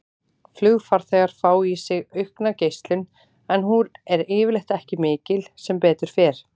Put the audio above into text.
Flugfarþegar fá í sig aukna geislun en hún er yfirleitt ekki mikil, sem betur fer.